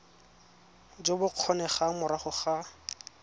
jo bo kgonegang morago ga